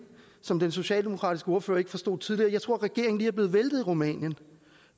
som den socialdemokratiske ordfører ikke forstod tidligere jeg tror at regeringen lige er blevet væltet i rumænien